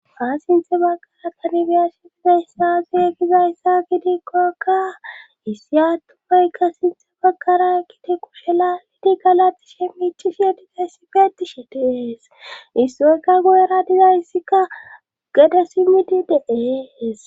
haa sinthe baggara kanibiya shitizayssaazu ekizayssa gidikkokka issi attumayka sinthe baggara kiteku shela lidi galatishe miichishe dizayssi feeti she tiees issoykka goyera dizayssika gede simidi de'ees